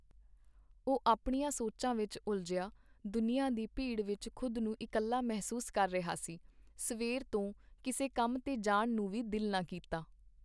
ਉਹ ਆਪਣੀਆਂ ਸੋਚਾਂ ਵਿੱਚ ਉਲਝਿਆ , ਦੁਨੀਆਂ ਦੀ ਭੀੜ ਵਿੱਚ ਖ਼ੁਦ ਨੂੰ ਇਕੱਲ੍ਹਾ ਮਹਿਸੂਸ ਕਰ ਰਿਹਾ ਸੀ, ਸਵੇਰ ਤੋ ਕਿਸੇ ਕੰਮ ਤੇ ਜਾਣ ਨੂੰ ਵੀ ਦਿਲ ਨਾ ਕੀਤਾ .